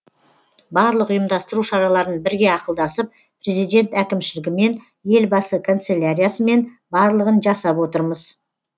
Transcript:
барлық ұйымдастыру шараларын бірге ақылдасып президент әкімшілігімен елбасы канцеляриясымен барлығын жасап отырмыз